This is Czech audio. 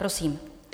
Prosím.